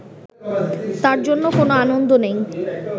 তার জন্য কোনো আনন্দ নেই